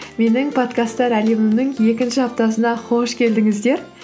менің подкасттар әлемімнің екінші аптасына қош келдіңіздер